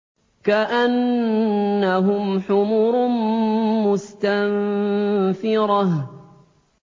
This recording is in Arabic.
كَأَنَّهُمْ حُمُرٌ مُّسْتَنفِرَةٌ